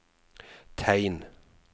tegn